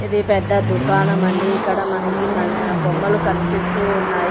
ఇది పెద్ద దుకాణం అండి ఇక్కడ మనకి మల్లె బొమ్మలు కనిపిస్తూ ఉన్నాయి.